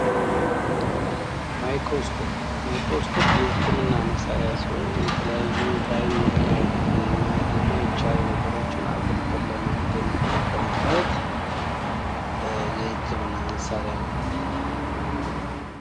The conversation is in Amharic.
ማይክሮስኮፕ ማይክሮስኮፕ የህክምና መሳሪያ ሲሆን የተለያዩ በአይን ለማየት የማይቻሉ ነገሮችን አጉልተን ለማየት የምንጠቀምበት አጉልተን ለማየት የምንጠቀምበት የህክምና መሣሪያ ነው።